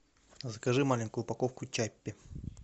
закажи маленькую упаковку чаппи